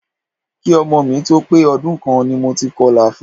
Ki ọmọ mi tó pé ọdún kan ni mo ti kọlà fun.